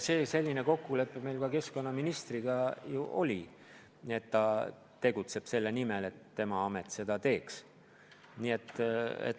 Meil oligi keskkonnaministriga kokkulepe, et ta tegutseb selle nimel, et tema amet seda teeks.